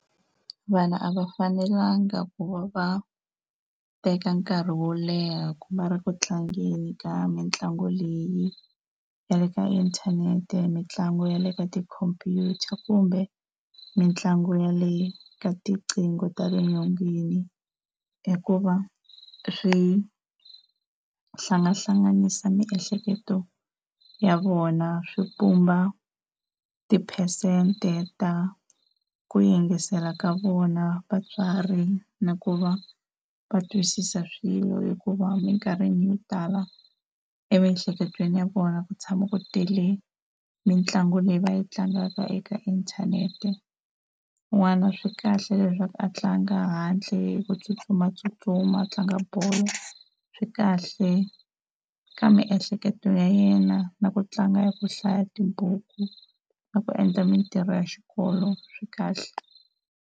Vanhu a va fanelanga ku va va teka nkarhi wo leha va ri ku tlangeni ka mitlangu leyi ya le ka inthanete, mitlangu ya le ka tikhompyuta kumbe mitlangu yaleyo ka tiqingho ta le nyongeni, hikuva swihlangahlanganisa miehleketo ya vona swi pumba tiphesente ta ku yingisela ka vona vatswari na ku va va twisisa swilo hikuva emikarhini yo tala emiehleketweni ya vona ku tshama ku tele mitlangu leyi va yi tlangaka eka inthanete. N'wana swi kahle leswaku a tlanga handle hi ku tsutsumatsutsuma, a tlanga bolo swi kahle ka miehleketo ya yena na ku tlanga ya ku hlaya tibuku na ku endla mintirho ya xikolo swi kahle.